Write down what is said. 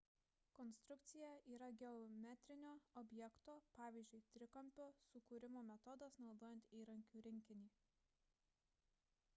konstrukcija yra geometrinio objekto pavyzdžiui trikampio sukūrimo metodas naudojant įrankių rinkinį